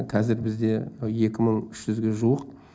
қазір бізде екі мың үш жүзге жуық